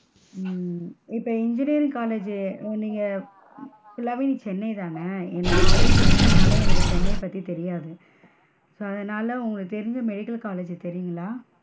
ஹம் இப்ப engineering college ஜூ நீங்க full லாவே நீ சென்னை தான, நான் வந்து திருச்சினால எனக்கு சென்னை பத்தி தெரியாது. so அதனால உங்களுக்கு தெரிஞ்ச medical college தெரியுங்களா?